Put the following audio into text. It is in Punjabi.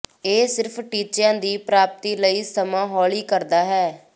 ਇਹ ਸਿਰਫ ਟੀਚਿਆਂ ਦੀ ਪ੍ਰਾਪਤੀ ਲਈ ਸਮਾਂ ਹੌਲੀ ਕਰਦਾ ਹੈ